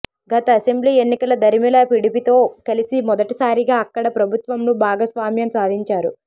గత అసెంబ్లీ ఎన్నికల దరిమిలా పిడిపితో కలిసి మొదటి సారిగా అక్కడ ప్రభుత్వంలో భాగ స్వామ్యం సాధించారు